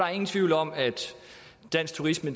er ingen tvivl om at dansk turisme